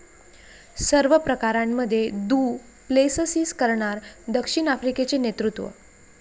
सर्व प्रकारांमध्ये du Plessis करणार दक्षिण आफ्रिकेचे नेतृत्व.